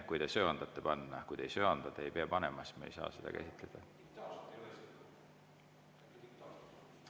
Kui te muidugi söandate panna, kui te ei söanda, siis te ei pea panema ja siis me ei saa seda käsitleda.